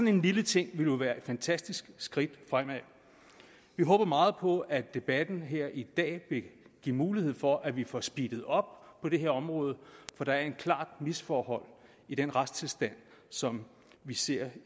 en lille ting ville jo være et fantastisk skridt fremad vi håber meget på at debatten her i dag vil give mulighed for at vi får speedet op på det her område for der er et klart misforhold i den retstilstand som vi ser